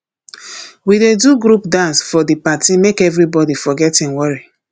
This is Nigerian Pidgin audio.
we dey do group dance for di party make everybodi forget im worry